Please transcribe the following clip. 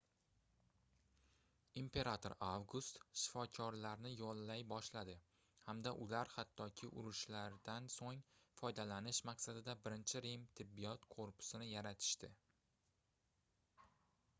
imperator avgust shifokorlarni yollay boshladi hamda ular hattoki urushlardan soʻng foydalanish maqsadida birinchi rim tibbiyot korpusini yaratishdi